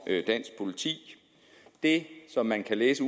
dansk politi det som man kan læse